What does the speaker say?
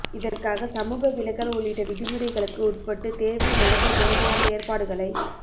இதற்காக சமூக விலகல் உள்ளிட்ட விதிமுறைகளுக்கு உட்பட்டு தேர்வை நடத்த தேவையான ஏற்பாடுகளை